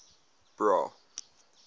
bra